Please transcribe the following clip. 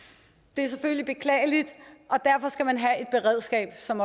det selvfølgelig beklageligt og derfor skal man have et beredskab som